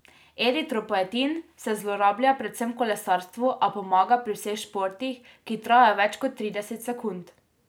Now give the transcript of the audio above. Eritropoetin se zlorablja predvsem v kolesarstvu, a pomaga pri vseh športih, ki trajajo več kot trideset sekund.